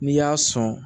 N'i y'a sɔn